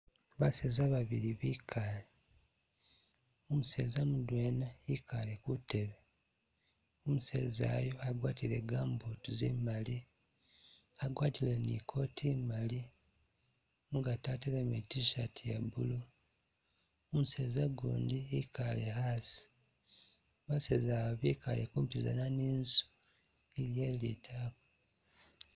Baaseza babili bikaale, umuseza mudwena wikaale ku'teebe, umuseza ayu agwatile gambooti zimaali, agwatile ni kooti i'maali mu'gaati atelemu e t-shirt ya blue, umuseza o'gundi i'kaale a'asi, baaseza abo bikaale kuupizana ni'nzu ni doyileti a'nzu